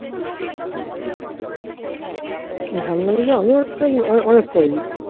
আমিও অনেক করেছি